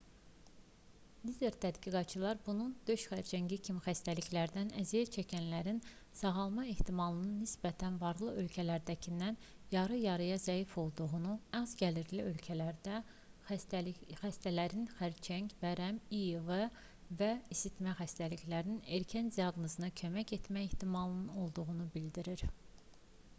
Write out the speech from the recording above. lider tədqiqatçılar bunun döş xərçəngi kimi xəstəliklərdən əziyyət çəkənlərin sağalma ehtimalının nisbətən varlı ölkələrdəkindən yarı-yarıya zəif olduğu az-gəlirli ölkələrdə xəstələrin xərçəng vərəm i̇i̇v və isitmə xəstəliklərinin erkən diaqnozuna kömək etmə ehtimalının olduğunu bildirir